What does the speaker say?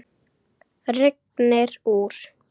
Rignir úr.